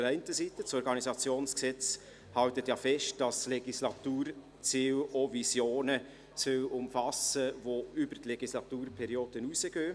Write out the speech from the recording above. Das Organisationsgesetz hält ja fest, dass die Legislaturziele auch Visionen umfassen sollen, die über die Legislaturperiode hinausgehen.